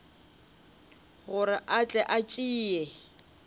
gore a tle a tšee